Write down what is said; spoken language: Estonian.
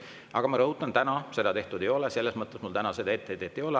Aga ma rõhutan, et täna seda tehtud ei ole, täna mul seda etteheidet ei ole.